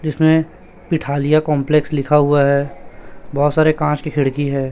जिसमें पीठालिया कंपलेक्स लिखा हुआ है बहोत सारे कांच की खिड़की है।